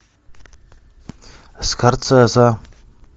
скорсезе